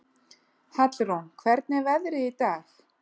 Hallrún, hvernig er veðrið í dag?